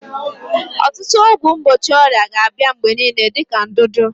Ọtụtụ ọgwụ mgbochi ọrịa ga-abịa mgbe niile dị ka ndudu.